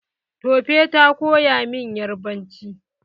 Tope ta koya min yarbanci.